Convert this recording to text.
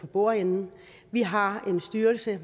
bordenden vi har